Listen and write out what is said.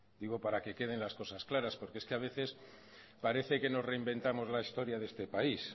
digo para que queden las cosas claras porque es que a veces parece que nos reinventamos la historia de este país